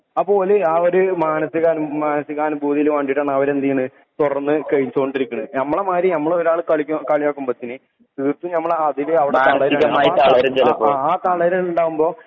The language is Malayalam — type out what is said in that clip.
അപ്പൊ ഓല് മാനസീക അനുഭൂതിക്കു വേണ്ടീട്ടാണ് അവരെ ഏത് ചെയ്യണ് തുറന്നു കഴിച്ചോണ്ടിരിക്കണു ഞമ്മളെ മാതിരി കാളി കളിയാക്കുമ്പത്തെന് തീർത്തും നമ്മളവിടെ ആ തളരല് ഉണ്ടാവുമ്പോ